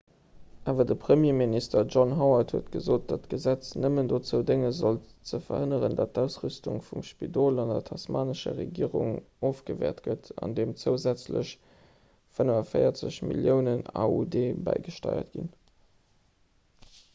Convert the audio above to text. awer de premierminister john howard huet gesot datt d'gesetz nëmmen dozou dénge sollt ze verhënneren datt d'ausrüstung vum spidol vun der tasmanescher regierung ofgewäert gëtt andeem zousätzlech 45 milliounen aud bäigesteiert ginn